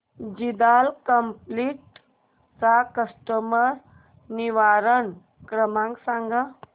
Jindal capital चा तक्रार निवारण क्रमांक सांग